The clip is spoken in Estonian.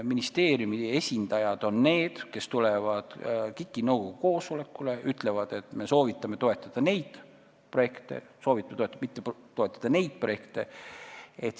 Ministeeriumi esindajad on need, kes tulevad KIK-i nõukogu koosolekule ja ütlevad, et me soovitame toetada neid projekte ja soovitame mitte toetada neid projekte.